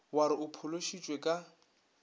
wa re o phološitšwe ka